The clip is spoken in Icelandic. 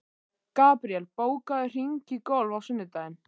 Gabriel, bókaðu hring í golf á sunnudaginn.